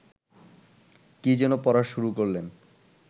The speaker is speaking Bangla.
কী যেন পড়া শুরু করলেন